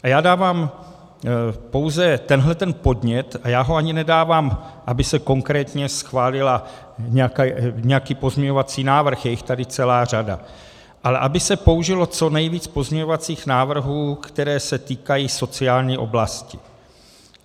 A já dávám pouze tenhleten podnět, a já ho ani nedávám, aby se konkrétně schválil nějaký pozměňovací návrh, je jich tady celá řada, ale aby se použilo co nejvíce pozměňovacích návrhů, které se týkají sociální oblasti.